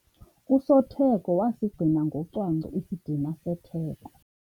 Usotheko wasigcina ngocwangco isidima setheko.